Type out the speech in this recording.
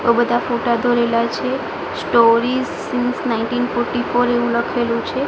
બો બધા ફોટા દોરેલા છે store is since nineteen forty four એવુ લખેલુ છે.